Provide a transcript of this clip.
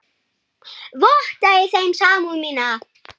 Votta ég þeim samúð mína.